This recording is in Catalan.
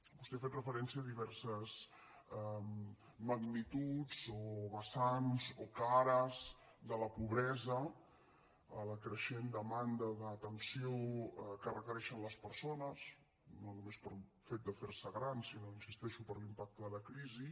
vostè ha fet referència a diverses magnituds o vessants o cares de la pobresa a la creixent demanda d’atenció que requereixen les persones no només pel fet de ferse grans sinó hi insisteixo per l’impacte de la crisi